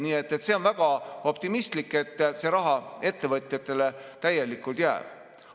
Nii et on väga optimistlik, et see raha jääb täielikult ettevõtjatele.